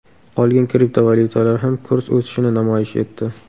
Qolgan kriptovalyutalar ham kurs o‘sishini namoyish etdi.